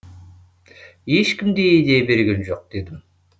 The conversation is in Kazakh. ешкім де идея берген жоқ дедім